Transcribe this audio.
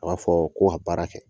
A b'a fɔ ko ka baara kɛ